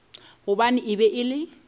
gobane e be e le